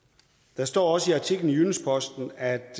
der står også i artiklen i jyllands posten at